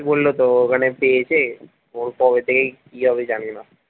বললো তো ওখানে পেয়েছে ওর কবে থেকে কি হবে জানিনা।